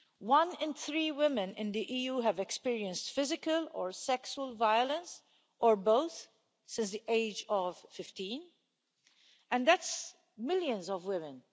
One in three women in the EU have experienced physical or sexual violence, or both since the age of 15 and that's millions of women.